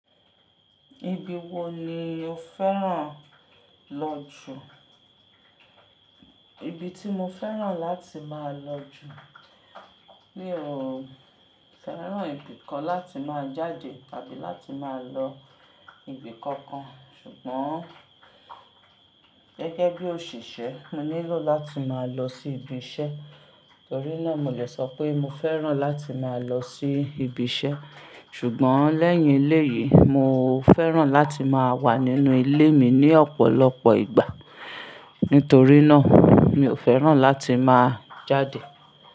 Ibi wo ni o fẹ́ràn lọ jù? Ibi tí mo fẹ́ràn láti máa lọ jù mi o fẹ́ràn ibi kan láti máa jáde tàbí láti máa lọ ibi kankan. Ṣùgbọ́n gẹ́gẹ́ bí òṣìṣẹ́, mo nílò láti máa lọ sí ibi iṣẹ́. Nítorí náà, mo le sọ pé mo fẹ́ràn láti máa lọ sí ibi iṣẹ́. Ṣùgbọ́n lẹ́yìn ilé yìí, mo fẹ́ràn láti máa wà nínú ilé mi ní ọ̀pọ̀lọpọ̀ ìgbà. Nítorí náà, mi ò fẹ́ràn láti máa jáde.